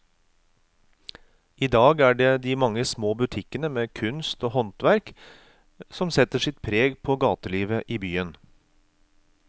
I dag er det de mange små butikkene med kunst og håndverk som setter sitt preg på gatelivet i byen.